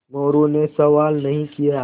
मोरू ने सवाल नहीं किये